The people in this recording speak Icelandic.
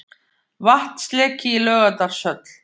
Vatnsleki í Laugardalshöll